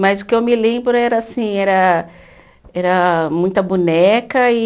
Mas o que eu me lembro era assim, era era muita boneca e...